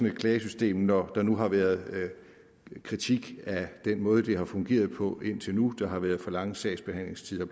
et klagesystem når der nu har været kritik af den måde det har fungeret på indtil nu hvor har været for lange sagsbehandlingstider